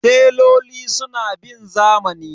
Teloli suna bin zamani.